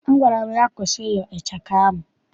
Agwara m ya, kwụsị ịyọ ịchaka ahụ!